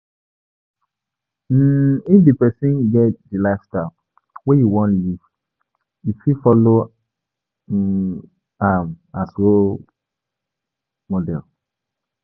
um If di person get di lifestyle wey you wan live, you fit follow um am as role model